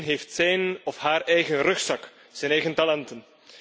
Iedereen heeft zijn of haar eigen rugzak, zijn eigen talenten.